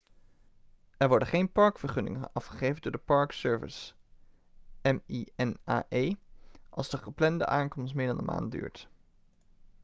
er worden geen parkvergunningen afgegeven door de park service minae als de geplande aankomst meer dan een maand duurt